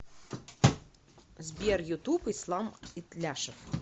сбер ютуб ислам итляшев